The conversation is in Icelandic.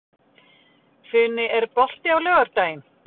Funi, er bolti á laugardaginn?